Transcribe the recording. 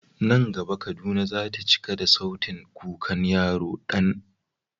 Nan gaba Kaduna za ta cika da sautin kukan yaro Dan.